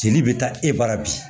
Jeli bɛ taa e bara bi